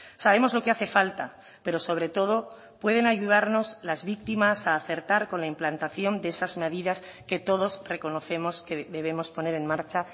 sabemos lo que hace falta pero sobre todo pueden ayudarnos las víctimas a acertar con la implantación de esas medidas que todos reconocemos que debemos poner en marcha